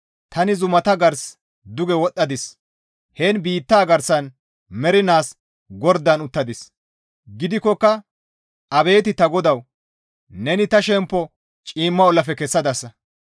Tani zumata gars duge wodhdhadis; heen biittaa garsan mernaas gordan uttadis; gidikkoka abeet ta GODAWU! Neni ta shemppo ciimma ollafe kessadasa.